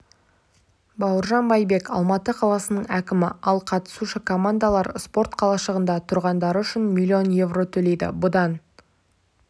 бауыржан байбек алматы қаласының әкімі ал қатысушы командалар спорт қалашығында тұрғаны үшін миллион еуро төлейді бұдан